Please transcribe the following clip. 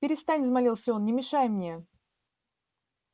перестань взмолился он не мешай мне